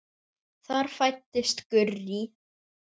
Þar fæddist Gurrý.